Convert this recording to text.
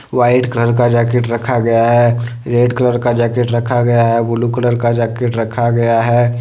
White colour का jacket रखा गया है रेड कलर का जैकेट रखा गया है ब्लू कलर का जैकेट रखा गया है।